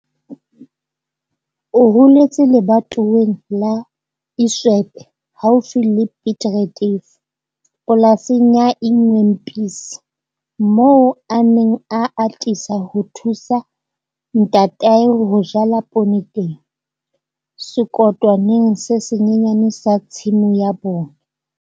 O holetse lebatoweng la Iswepe haufi le Piet Retief, polasing ya Ingwempisi moo a neng a atisa ho thusa ntatae ho jala poone teng, sekotwaneng se senyane sa tshimo ya bona.